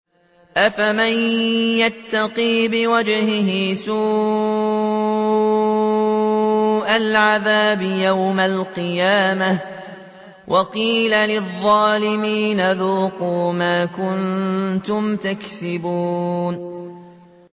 أَفَمَن يَتَّقِي بِوَجْهِهِ سُوءَ الْعَذَابِ يَوْمَ الْقِيَامَةِ ۚ وَقِيلَ لِلظَّالِمِينَ ذُوقُوا مَا كُنتُمْ تَكْسِبُونَ